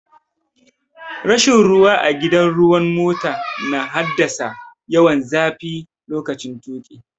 Rashin ruwa a gidan ruwan mota na haddasa yawan zafi lokaci tuƙi.